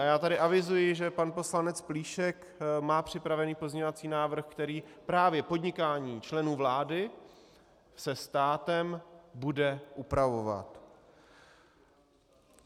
A já tady avizuji, že pan poslanec Plíšek má připravený pozměňovací návrh, který právě podnikání členů vlády se státem bude upravovat.